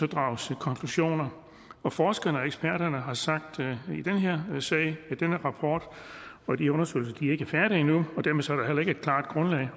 drages konklusioner og forskerne og eksperterne sag har sagt at den rapport og de undersøgelser ikke er færdige endnu